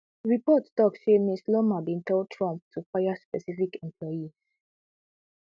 reports tok say ms loomer bin tell trump to fire specific employees